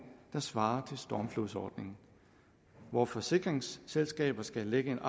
der svarer til stormflodsordningen hvor forsikringsselskabet skal lægge en